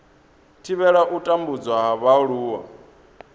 thivhela u tambudzwa ha vhaaluwa